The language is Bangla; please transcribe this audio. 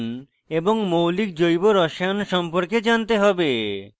উচ্চ বিদ্যালয়ের রসায়ন এবং মৌলিক জৈব রসায়ন সম্পর্কে জানতে হবে